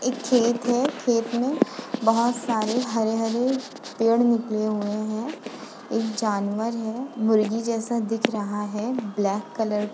एक खेत है। खेत में बहोत सारे हरे-हरे पेड़ निकले हुए हैं। एक जानवर है मुर्गी जैसा दिख रहा है ब्लैक कलर --